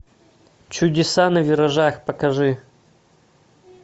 чудеса на виражах покажи